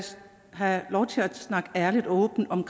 have lov til at snakke ærligt og åbent om